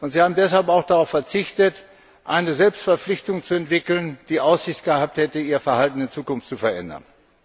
Sie haben deshalb auch darauf verzichtet, eine Selbstverpflichtung zu entwickeln, die Aussicht gehabt hätte, ihr Verhalten in Zukunft zu verändern.